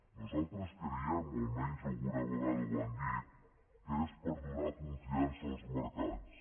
nosaltres creiem o almenys alguna vegada ho han dit que és per donar confiança als mercats